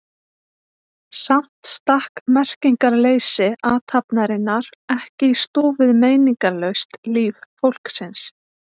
Samt stakk merkingarleysi athafnarinnar ekki í stúf við meiningarlaust líf fólksins.